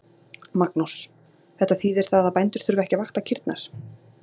Magnús: Þetta þýðir það að bændur þurfa ekki að vakta kýrnar?